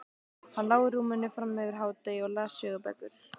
Hann lá í rúminu fram yfir hádegi og las sögubækur.